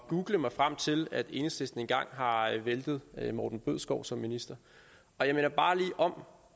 google mig frem til at enhedslisten engang har væltet morten bødskov som minister og jeg minder bare lige om